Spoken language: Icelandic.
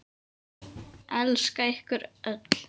Elska ykkur öll.